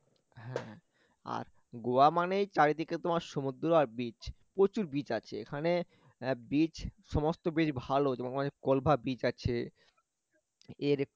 হ্যাঁ আর গোয়া মানেই চারিদিকে তোমার সমুদ্র আর beach প্রচুর beach আছে এখানে beach সমস্ত beach ভালো তোমাকে beach আছে এর একটু